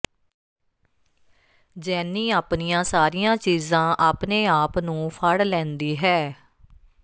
ਜੈਨੀ ਆਪਣੀਆਂ ਸਾਰੀਆਂ ਚੀਜ਼ਾਂ ਆਪਣੇ ਆਪ ਨੂੰ ਫੜ ਲੈਂਦੀ ਹੈ